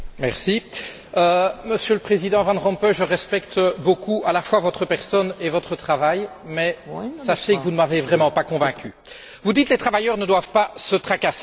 Monsieur le Président Van Rompuy, je respecte beaucoup à la fois votre personne et votre travail, mais sachez que vous ne m'avez vraiment pas convaincu. Vous dites que les travailleurs ne doivent pas se tracasser, qu'on travaille pour eux.